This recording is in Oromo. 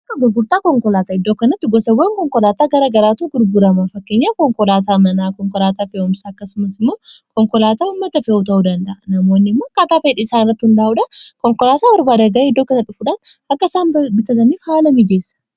ak grgurtaa konkolaataa iddoo kanatti gosawwan konkolaataa gara garaatuu gurburama fakkeenya konkolaataa manaa konkolaataa feewumsa akkasumas immoo konkolaataa ummata fee'uu ta'uu danda'a namoonni immoo kaataa feedi isaan irrattuu hin daa'uudha konkolaataa barbaa adaga'ee iddoo kana dhufudaai akka isaan bitataniif haala mijeessa